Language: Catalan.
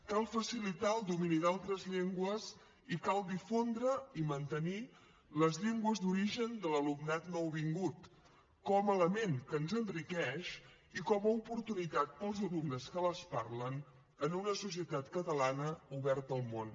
cal facilitar el domini d’altres llengües i cal difondre i mantenir les llengües d’origen de l’alumnat nouvingut com a element que ens enriqueix i com a oportunitat per als alumnes que les parlen en una societat catalana oberta al món